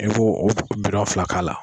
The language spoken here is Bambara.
I b'o fila k'a la.